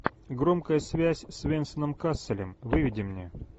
громкая связь с венсаном касселем выведи мне